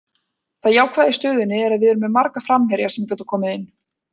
Það jákvæða í stöðunni er að við erum með marga framherja sem geta komið inn.